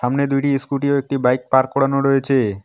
সামনে দুইটি ইস্কুটি ও একটি বাইক পার্ক করানো রয়েছে।